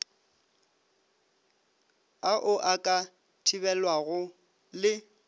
ao a ka thibelwago le